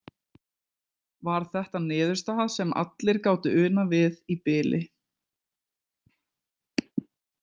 Var þetta niðurstaða sem allir gátu unað við í bili.